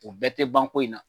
O bɛɛ tɛ ban ko in na.